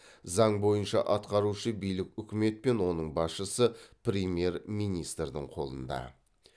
заң бойынша атқарушы билік үкімет пен оның басшысы премьер министрдің қолында